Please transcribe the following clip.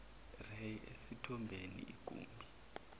ray esithombeni igumbi